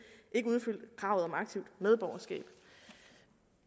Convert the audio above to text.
ikke udfyldte kravet om aktivt medborgerskab